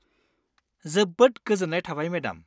जोबोद गोजोन्नाय थाबाय मेडाम।